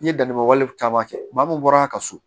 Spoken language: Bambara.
N ye danni wale caman kɛ maa mun bɔra a ka so